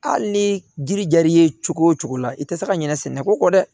Hali ni jiri jara i ye cogo o cogo la i tɛ se ka ɲinɛ sɛnɛko kɔ dɛ